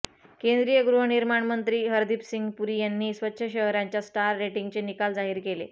केंद्रीय गृहनिर्माण मंत्री हरदीपसिंग पुरी यांनी स्वच्छ शहरांच्या स्टार रेटिंगचे निकाल जाहीर केले